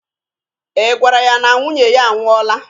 I gwara ya na nwunye ya a nwụọla?